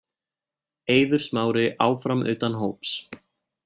Eiður Smári áfram utan hóps